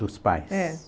Dos pais? É.